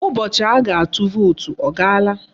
Ụbọchị a ga-atụ vootu ọ gaala?